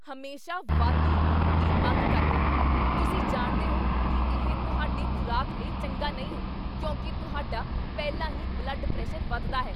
ਹਮੇਸ਼ਾ ਵਾਧੂ ਲੂਣ ਦੀ ਮੰਗ ਕਰਦੇ ਹੋ! ਤੁਸੀਂ ਜਾਣਦੇ ਹੋ ਕੀ ਇਹ ਤੁਹਾਡੀ ਖ਼ੁਰਾਕ ਲਈ ਚੰਗਾ ਨਹੀਂ ਹੈ ਕਿਉਂਕਿ ਤੁਹਾਡਾ ਪਹਿਲਾਂ ਹੀ ਬਲੱਡ ਪ੍ਰੈਸ਼ਰ ਵੱਧਦਾ ਹੈ।